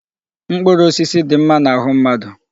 Mkpụrụ osisi dị mma n'ahụ mmadụ.